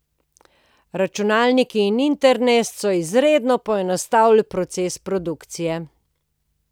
Računalniki in internet so izredno poenostavili proces produkcije.